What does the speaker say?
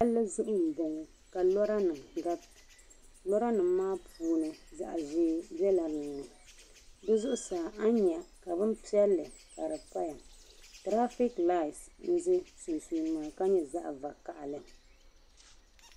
Palli zuɣu n bɔŋo ka lora nima garita lora nima maa puuni zaɣa ʒee bela din ni di zuɣu saa a nyɛ ka bin piɛlli ka di paya tirafiik laat n za sunsuuni ŋɔ ka nyo zaɣa vakahili.